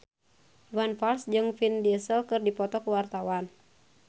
Iwan Fals jeung Vin Diesel keur dipoto ku wartawan